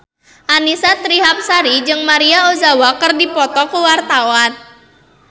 Annisa Trihapsari jeung Maria Ozawa keur dipoto ku wartawan